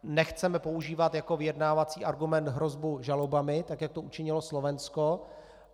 Nechceme používat jako vyjednávací argument hrozbu žalobami tak, jak to učinilo Slovensko.